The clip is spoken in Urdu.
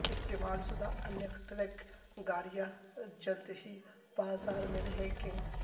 استعمال شدہ الیکٹرک گاڑیاں جلد ہی بازار میں رہیں گے